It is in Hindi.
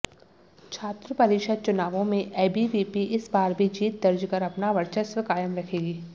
छात्र परिषद चुनावों में एबीवीपी इस बार भी जीत दर्ज कर अपना वर्चस्व कायम रखेगी